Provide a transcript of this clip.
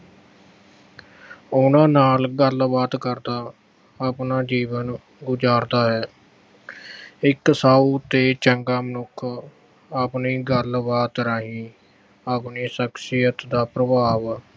ਉਹਨਾਂ ਨਾਲ ਗੱਲਬਾਤ ਕਰਦਾ ਆਪਣਾ ਜੀਵਨ ਗੁਜ਼ਾਰਦਾ ਹੈ। ਇੱਕ ਸਾਊ ਤੇ ਚੰਗਾ ਮਨੁੱਖ ਆਪਣੀ ਗੱਲਬਾਤ ਰਾਹੀਂ ਆਪਣੀ ਸਖਸ਼ੀਅਤ ਦਾ ਪ੍ਰਭਾਵ